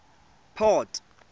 port